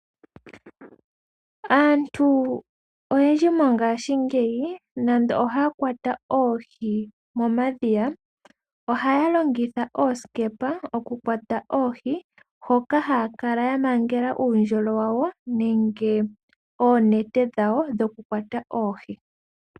Aantu oyendji mongashingeyi nonando haya kwata oohi momadhiya ohaya longitha oosikepa okukwata oohi mpoka haya kala ya mangele oondjolo dhawo nenge oonete dhawo dho kukwata oohi.